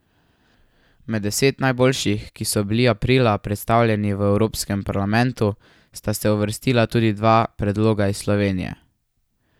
Med deset najboljših, ki so bili aprila predstavljeni v Evropskem parlamentu, sta se uvrstila tudi dva predloga iz Slovenije.